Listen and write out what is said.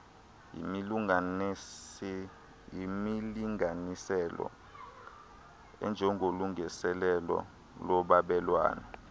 yimilinganiselo enjengolungiselelo lolwabelwano